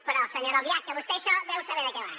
però senyora albiach vostè això deu saber de què va